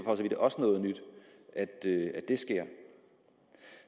vidt også noget nyt at det sker